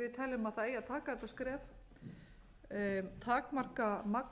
við teljum að það eigi að taka þetta skref takmarka magn